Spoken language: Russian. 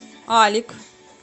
алик